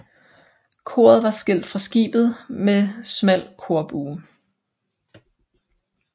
Koret var skilt fra skibet med smal korbue